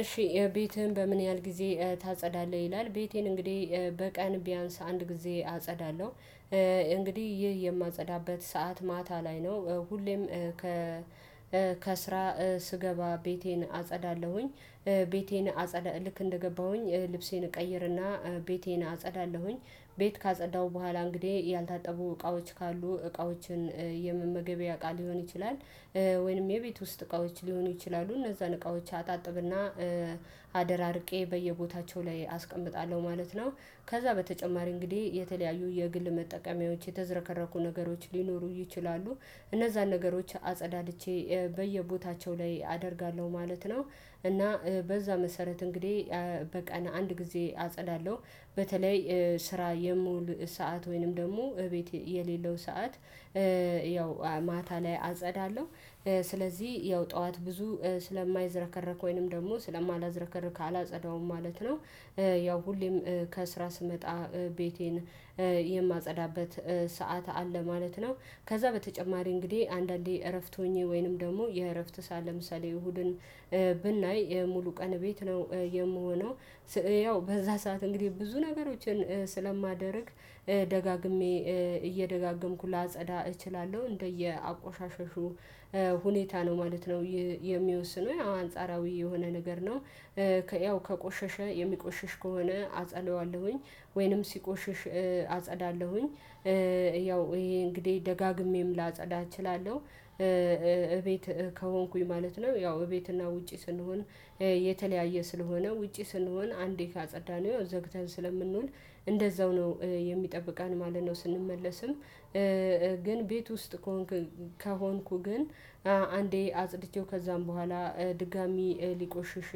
እሺ ቤትህን በምን ያህል ጊዜ ታጸዳለህ ይላል ቤቴን እንግዲህ በቀን ቢያንስ አንድ ጊዜ አጸዳለሁ። እንግዲህ ይህ የማጸዳበት ሰዓት ማታ ላይ ነው። ሁሌም ከ ከስራ ስገባ ቤቴን አጸዳለሁኝ። ቤቴን አጸዳ ልክ እንደገባሁኝ ልብሴን እቀይርና፣ ቤቴን አጸዳለሁኝ ቤት ካጸዳሁ በኋላ እንግዲህ ያልታጠቡ እቃዎች ካሉ እቃዎችን የምመገቢያ እቃ ሊሆን ይችላል ወይንም የቤት ውስጥ እቃዎች ሊሆኑ ይችላሉ እነዛን እቃዎች አጣጥብና አደራርቄ በየቦታቸው ላይ አስቀምጣለሁ ማለት ነው። ከዛ በተጨማሪ እንግዲህ የተለያዩ የግል መጠቀሚያዎች የተዝረከረኩ ነገሮች ሊኖሩ ይችላሉ እነዛን ነገሮች አጸዳድቼ በየቦታቸው ላይ አደርጋለሁ ማለት ነው። እና በዛ መሰረት እንግዲህ በቀን አንድ ጊዜ አጸዳለሁ። በተለይ ስራ የምውል ሰዓት ወይንም ደግሞ እቤት የሌለው ሰዓት ያው ማታ ላይ አጸዳለሁ። ስለዚህ ያው ጠዋት ብዙ ስለማይዝረከረኩ ወይንም ደግሞ ስለማላዝረከርክ አላጸዳውም ማለት ነው። ያው ሁሌም ከስራ ስመጣ ቤቴን የማጸዳበት ሰዓት አለ ማለት ነው። ከዛ በተጨማሪ እንግዲህ አንዳንዴ እረፍት ሆኜ ወይንም ደግሞ የእረፍት ሰዓት ለምሳሌ እሁድን ብናይ ሙሉ ቀን ቤት ነው የምሆነው ያው በዛ ሰዓት እንግዲህ ብዙ ነገሮችን ስለማደርግ ደጋግሜ እየደጋገምኩ ላጸዳ እችላለሁ። እንደየ አቆሻሸሹ ሁኔታ ነው ማለት ነው የሚወስነው። ያው አንጻራዊ የሆነ ነገር ነው። ከያው ከቆሸሸ የሚቆሽሽ ከሆነ አጸዳዋለሁኝ ወይንም ሲቆሽሽ አጸዳለሁኝ። ያው ይሄ እንግዲህ ደጋግሜም ላጸዳ እችላለሁ። እቤት ከሆንኩኝ ማለት ነው። ያው እቤትና ውጪ ስንሆን የተለያየ ስለሆነ ውጪ ስንሆን አንዴ ካጸዳነው ዘግተን ስለምንውል እንደዛው ነው የሚጠብቀን ማለት ነው። ስንመለስም ግን ቤት ውስጥ ከሆንኩ ግን አንዴ አጽድቼው ከዛም በኋላ ድጋሚ ሊቆሽሽ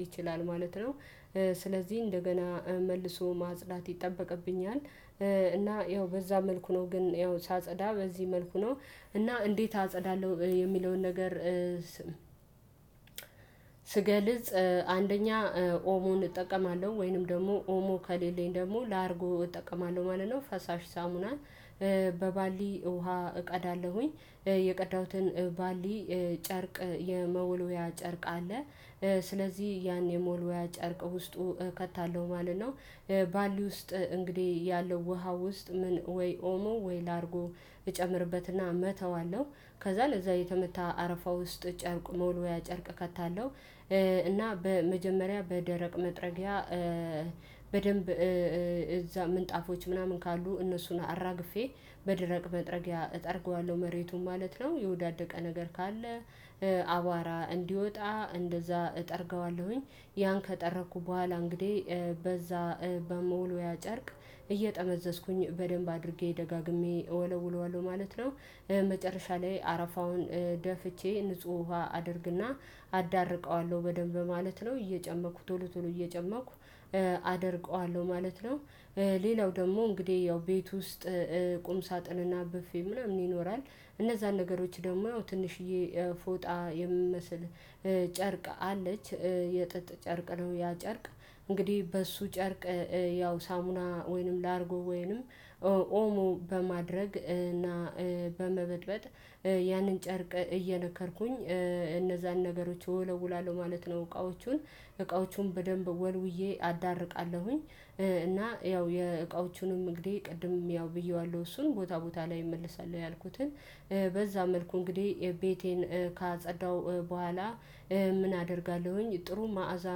ይችላል ማለት ነው። ስለዚህ እንደገና መልሶ ማጽዳት ይጠበቅብኛል እና ያው በዛ መልኩ ነው ግን ያው ሳጸዳ በዚህ መልኩ ነው እና እንዴት አጸዳለሁ የሚለውን ነገር ስገልጽ አንደኛ ኦሞን እጠቀማለሁ ወይንም ደግሞ ኦሞ ከሌለኝ ደግሞ ላርጎ እጠቀማለሁ ማለት ነው። ፈሳሽ ሳሙና በባሊ ውሃ እቀዳለሁኝ የቀዳሁትን ባሊ ጨርቅ የመወልወያ ጨርቅ አለ። ስለዚህ ያን የመወልወያ ጨርቅ ውስጡ ከታለው ማለት ነው። ባሊ ውስጥ እንግዲህ ያለው ውሃ ውስጥ ምን ወይ ኦሞ ወይ ላርጎ እጨምርበትና እመታዋለሁ። ከዛ ለዛ የተመታ አረፋ ውስጥ ጨርቅ መወልዋያ ጨርቅ ከታለው እና በመጀመሪያ በደረቅ መጥረጊያ በደንብ እዛ ምንጣፎች ምናምን ካሉ እነሱን አራግፌ በደረቅ መጥረጊያ እጠርገዋለሁ መሬቱን ማለት ነው። የወዳደቀ ነገር ካለ አቧራ እንዲወጣ እንደዛ እጠርገዋለሁኝ። ያን ከጠረኩ በኋላ እንግዲህ በዛ በመወልወያ ጨርቅ እየጠመዘዝኩኝ በደንብ አድርጌ ደጋግሜ እወለውለዋለሁ ማለት ነው። መጨረሻ ላይ አረፋውን ደፍቼ ንጹህ ውሃ አደርግና አዳርቀዋለሁ በደንብ ማለት ነው። እየጨመኩ ቶሎ ቶሎ እየጨመኩ አደርቀዋለሁ ማለት ነው። ሌላው ደግሞ እንግዲህ ያው ቤት ውስጥ ቁም ሳጥንና ብፌ ምናምን ይኖራል እነዛን ነገሮች ደግሞ ትንሽዬ ፎጣ የምመስል ጨርቅ አለች። የጥጥ ጨርቅ ነው ያ ጨርቅ እንግዲህ በሱ ጨርቅ ያው ሳሙና ወይንም ላርጎ ወይንም ኦሞ በማድረግ እና በመበጥበጥ ያንን ጨርቅ እየነከርኩኝ እነዛን ነገሮች ወለውላለው ማለት ነው። እቃዎቹን እቃዎቹን በደንብ ወልውዬ አዳርቃለሁኝ እና ያው የእቃዎቹንም እንግዲህ ቅድም ያው ብየዋለሁ እሱን ቦታ ቦታ ላይ እመልሳለሁ ያልኩትን በዛ መልኩ እንግዲህ ቤቴን ካጸዳሁ በኋላ ምን አደርጋለሁኝ ጥሩ ማዕዛ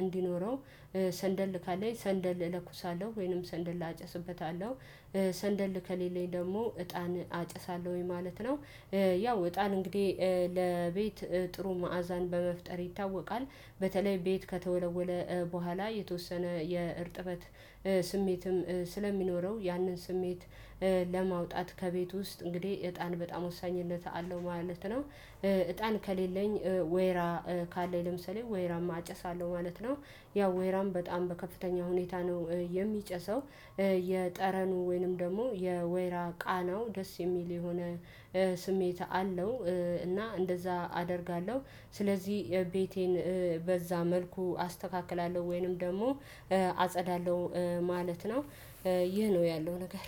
እንዲኖረው ሰንደል ካለኝ ሰንደል እለኩሳለሁ ወይንም ሰንደል አጨስበታለሁ። ሰንደል ከሌለኝ ደግሞ እጣን አጨሳለሁኝ ማለት ነው። ያው እጣን እንግዲህ ለቤት ጥሩ መዓዛን በመፍጠር ይታወቃል በተለይ ቤት ከተወለወለ በኋላ የተወሰነ የእርጥበት ስሜትም ስለሚኖረው ያንን ስሜት ለማውጣት ከቤት ውስጥ እንግዲህ እጣን በጣም ወሳኝነት አለው ማለት ነው። እጣን ከሌለኝ ወይራ ካለኝ ለምሳሌ ወይራም አጨሳለሁ ማለት ነው ያው ወይራም በጣም በከፍተኛ ሁኔታ ነው የሚጨሰው የጠረኑ ወይንም ደግሞ የወይራ ቃናው ደስ የሚል የሆነ ስሜት አለው እና እንደዛ አደርጋለሁ። ስለዚህ ቤቴን በዛ መልኩ አስተካክላለሁ ወይንም ደግሞ አጸዳለሁ ማለት ነው። ይህ ነው ያለው ነገር።